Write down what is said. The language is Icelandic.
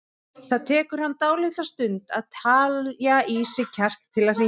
Það tekur hann dálitla stund að telja í sig kjark til að hringja.